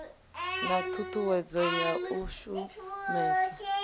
na ṱhuṱhuwedzo ya u shumesa